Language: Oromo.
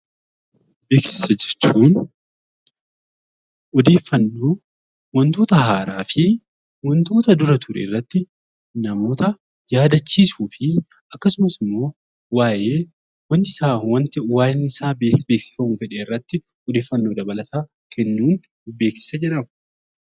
Beeksisa jechuun odeeffannoo wantoota haaraa fi wantoota dura ture irratti namoota yaadachiisuu fi waa'ee wanti isaa beeksifamuuf jedhe irratti odeeffannoo dabalataa kennuun 'Beeksisa' jedhama.